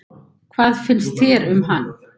Hvað finnst þér um hann?